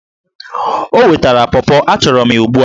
O wetara pọpọ! achọrọ m ya ugbu a!